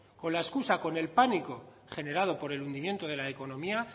con la excusa con el pánico generado por el hundimiento de la economía